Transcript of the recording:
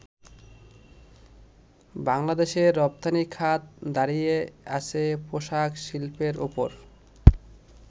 বাংলাদেশের রপ্তানিখাত দাঁড়িয়ে আছে পোশাক শিল্পের ওপর।